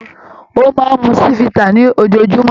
Ó máa ń mu Chivita ní ojoojúmọ́.